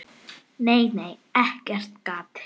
Nei, nei, ekkert gat!